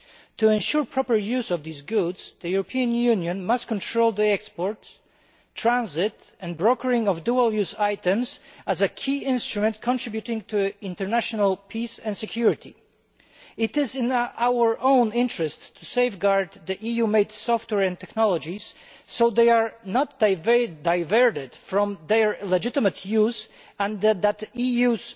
To ensure proper use of these goods, the European Union must control the export, transit and brokering of dual use items as a key instrument contributing to international peace and security. It is in our own interest to safeguard EU made software and technologies so they are not diverted from their legitimate use and to ensure that the EU's